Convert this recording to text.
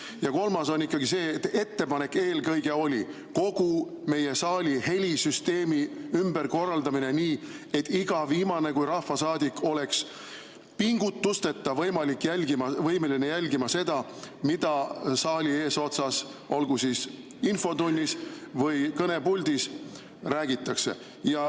Ja kolmas on ikkagi see, et ettepanek eelkõige oli kogu meie saali helisüsteem ümber korraldada nii, et iga viimane kui rahvasaadik oleks pingutusteta võimeline jälgima seda, mida saali eesotsas, olgu siis infotunnis või kõnepuldis, räägitakse.